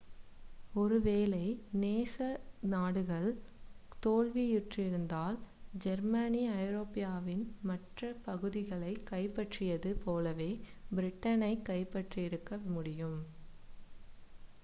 ஓரு வேளை நேச நாடுகள் தோல்வியுற்றிருந்தால் ஜெர்மனி ஐரோப்பாவின் மற்ற பகுதிகளைக் கைப்பற்றியது போலவே பிரிட்டனைக் கைப்பற்றியிருக்க முடியும்